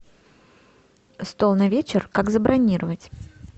стол на вечер как забронировать